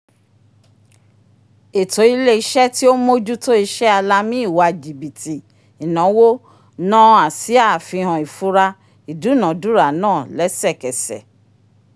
eto ile-iṣẹ tí o n m'ojuto ise alami ìwà jibiti inawo naa asia àfihàn ifura idunadura naa lẹsẹkẹsẹ